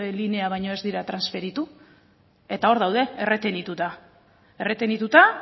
linea baino ez dira transferitu eta hor daude erretenituta erretenituta